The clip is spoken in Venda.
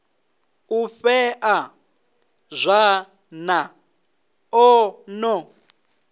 u fheṱa zwanḓa o no